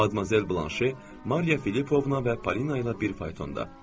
Madmazel Blanşe, Mariya Filippovna və Polina ilə bir faytonda.